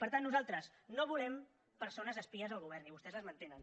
per tant nosaltres no volem persones espies al govern i vostès les mantenen